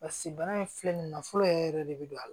Basi bana in filɛ nin ye nafolo yɛrɛ yɛrɛ de be don a la